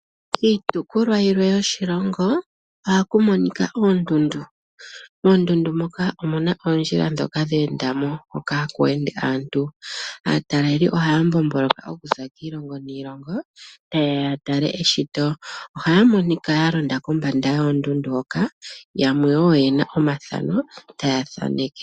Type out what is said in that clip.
Iitopolwa yilwe yoshilongo ohaku monika oondundu. Moondundu moka omuna oondjila dhoka dhenda mo hoka haku ende aantu. Ataleli ohaya mbomboloka okuza kiilongo niilongo tayeya ya tale eshito, ohaya monika yalonda kombanda yoondundu hoka, yamwe yena wo omathano taya thaneke.